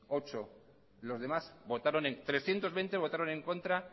trescientos veinte votaron en contra